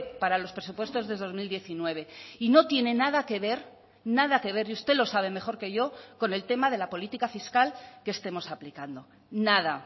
para los presupuestos de dos mil diecinueve y no tiene nada que ver nada que ver y usted lo sabe mejor que yo con el tema de la política fiscal que estemos aplicando nada